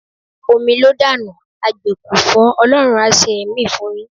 Omi ló dànù, agbè kò fọ́, Ọlọ́run á ṣe ẹ̀mí fún yín.